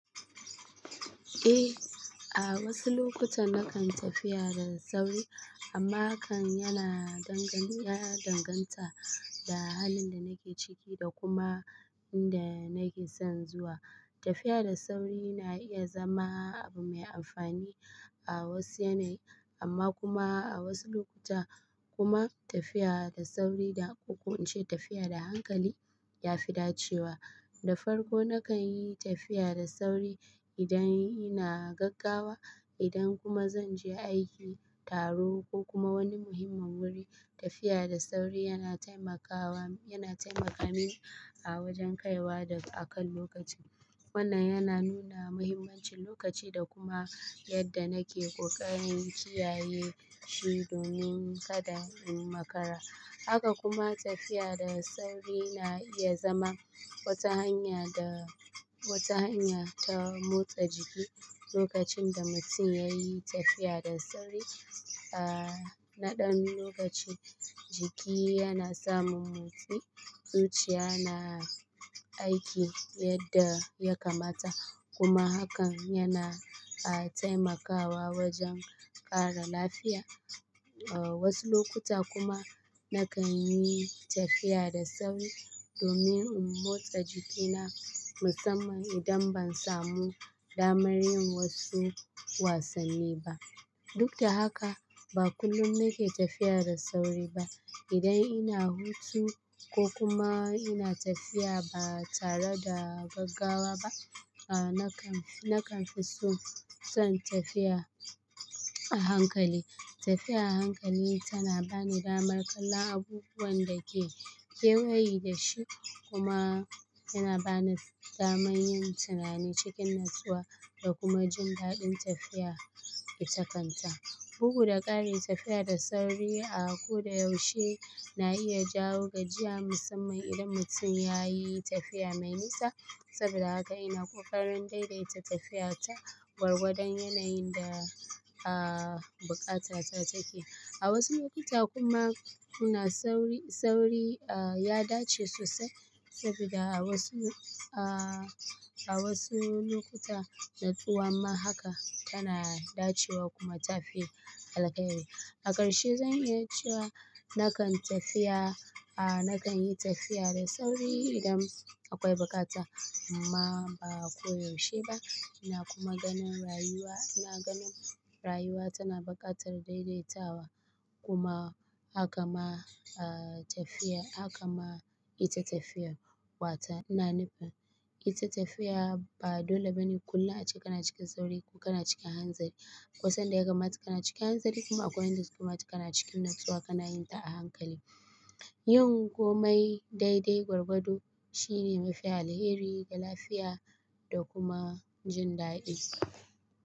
Eh, a wasu lokuta na kan tafiya da sauri amma hakan yana danganta da halin da nake ciki da kuma inda nake son zuwa. Tafiya da sauri na iya zama abu mai amfani a wasu yanayi amma kuma a wasu lokuta kuma tafiya da sauri da kokoince tafiya da hankali ya fi dacewa. Da farko na kan yi tafiya da sauri idan ina gaggawa, idan kuma zan je aiki, taro ko kuma wani muhimmin wuri. Tafiya da sauri yana taimaka min a wajen kaiwa a kan lokaci. Wannan yana nuna muhimmancin lokaci da kuma yadda nake ƙoƙarin kiyaye shi domin kada in makara. Haka kuma tafiya da sauri na iya zama wata hanya ta motsa jiki. Lokacin da mutum ya yi tafiya da sauri a naɗan lokaci, jiki yana samun motsi, zuciya na aiki yadda ya kamata kuma hakan yana taimakawa wajen ƙara lafiya. A wasu lokuta kuma na kan yi tafiya da sauri domin in motsa jikina musamman idan ban samu damar yin wasu wasanni ba. Duk da haka, ba kullum muke tafiya da sauri ba. Idan ina hutu ko kuma ina tafiya ba tare da gaggawa ba, nakan fi so san tafiya a hankali. Tafiya a hankali tana bani damar kallon abubuwan da ke kewaye da shi kuma yana bani damar yin tunani cikin natsuwa da kuma jin daɗin tafiya itakanta. Bugu da ƙari tafiya da sauri a ko da yaushe na iya jawo gajiya musamman idan mutum ya yi tafiya mai nisa saboda haka ina ƙoƙarin daidaita tafiyata gwargwadon yanayin da a buƙatata take. A wasu lokuta kuma suna sauri, sauri ya dace sosai saboda a wasu, a wasu lokuta, natsuwa ma haka tana dacewa kuma ta fi alheri. A ƙarshe zan iya cewa na kan tafiya, a na kan yi tafiya da sauri idan akwai buƙata amma ba koyaushe ba. Ina kuma ganin rayuwa, ina ganin rayuwa tana buƙatar daidaitawa kuma haka ma tafiya, haka ma ita tafiya. Wata ina nufin ita tafiya ba dole bane kullum a ce kana cikin sauri ko kana cikin hanzari. Akwaisan da ya kamata kana cikin hanzari kuma akwai sanda yaka mata kana cikin natsuwa kana yin ta a hankali. Yin komai daidai gwargwado shine mafi alheri ga lafiya da kuma jin daɗi.